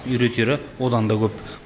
үйретері одан да көп